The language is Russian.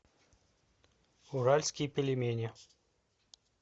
уральские пельмени